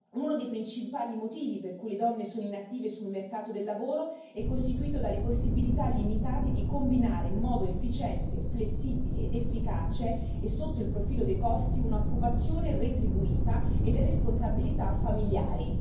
Uno dei principali motivi per cui le donne sono inattive sul mercato del lavoro è costituito dalle possibilità limitate di combinare in modo efficiente, flessibile ed efficace sotto il profilo dei costi un'occupazione retribuita e le responsabilità familiari.